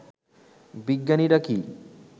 বিজ্ঞানীরা কি